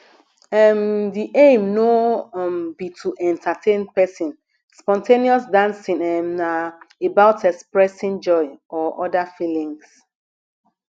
um di aim no um be to entertain person spon ten ous dancing um na about expressing joy or oda feelings